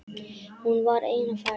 Hún var ein á ferð.